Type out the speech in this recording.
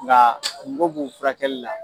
Nka kungo b'u furakɛli la.